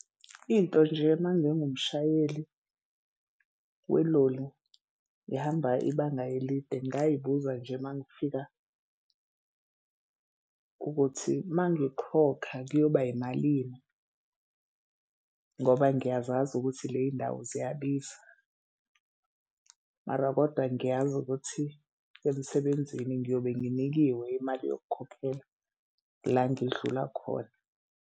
Into nje uma ngingumshayeli weloli ngihamba ibanga elide ngingayibuza nje uma ngifika ukuthi uma ngikhokha kuyoba yimalini ngoba ngiyazazi ukuthi ley'ndawo ziyabiza. Mara kodwa ngiyazi ukuthi emsebenzini ngiyobe nginikiwe imali yokukhokhela la ngidlula khona.